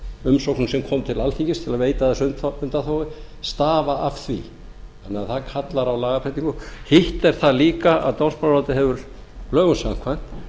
umsóknum sem komu til alþingis til þess að veita þessa undanþágu stafa af því þannig að það kallar á lagabreytingu hitt er það líka að dómsmálaráðuneytið hefur lögum samkvæmt